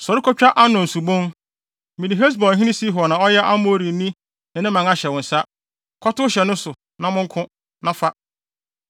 “Sɔre kotwa Arnon Subon. Mede Hesbonhene Sihon a ɔyɛ Amorini no ne man ahyɛ wo nsa. Kɔtow hyɛ ne so, na monko, na fa.